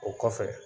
O kɔfɛ